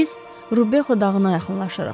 Biz Rubexu dağına yaxınlaşırıq.